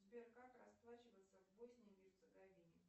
сбер как расплачиваться в боснии и герцеговине